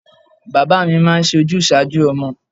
Bàbá mi máa ń sojúsàájú ọmọ.